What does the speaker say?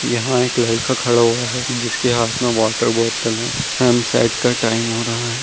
यहाँ एक लड़का खड़ा हुआ है जिसके हाथ में वाटर बॉटल है सनसेट का टाइम हो रहा है।